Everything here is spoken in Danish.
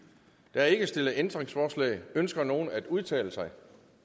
der er ikke stillet ændringsforslag ønsker nogen at udtale sig